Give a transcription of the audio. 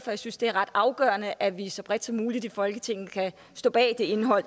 jeg synes det er ret afgørende at vi så bredt som muligt i folketinget kan stå bag det indhold